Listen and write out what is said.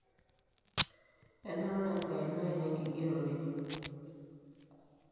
enaura enkaina ai tenkingerore